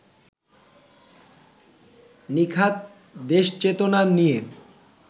নিখাদ দেশচেতনা নিয়ে